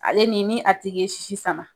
Ale ni ni a tigi ye sisi sama.